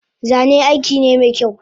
Zane aikine mekyau